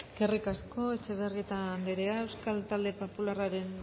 eskerrik asko etxebarrieta andrea euskal talde popularraren